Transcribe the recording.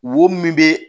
Wo min bɛ